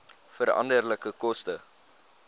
veranderlike koste